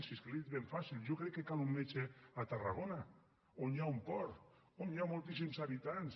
si és que li ho he dit ben fàcil jo crec que cal un metge a tarragona on hi ha un port on hi ha moltíssims habitants